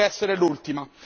Potrebbe essere l'ultima.